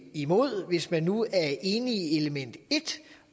imod hvis vi nu er enige i element et